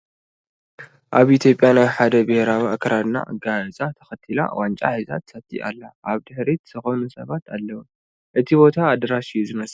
ኣብ ኢ/ያ ናይ ሓደ ብሄር ኣከዳድናን ኣጋይፃን ተኸቲላ ዋንጫ ሒዛ ትሰቲ ኣላ ፡ ኣብ ድሕሪታ ዝኾኑ ሰባት ኣለዉ እቲ ቦታ ኣዳራሽ እዩ ዝመስል ።